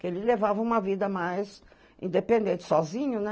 Que ele levava uma vida mais independente, sozinho, né?